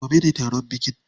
Gobe ne taron bikin.